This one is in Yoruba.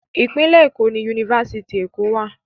Ìpínlẹ̀ Èkó ni Yunifásitì Èkó wà.